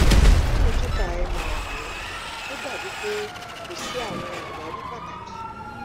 lẹhin kika mri rẹ o dabi pe ko si awọn awari pataki